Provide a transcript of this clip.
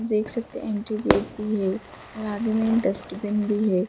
देख सकते है इंट्री गाते भी है और आगे में एक डस्टबिन भी हैं।